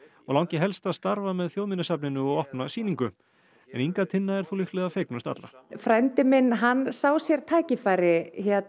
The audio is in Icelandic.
og langi helst að starfa með Þjóðminjasafninu og opna sýningu Inga Tinna er þó líklega fegnust allra frændi minn sá sér tækifæri